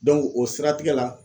o siratigɛ la